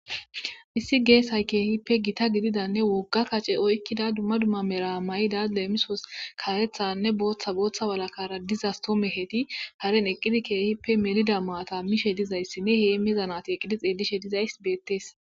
issi geesay keehippe gita gididanne wogga kace oykkida dumma dumma meramayi daad leemisos karethanne booththa booththa walakara dizastoomeheti haren eqqidi keehippe melida maata mishe dizayssi ne heemezanati eqqidi xeelishe dizays beettees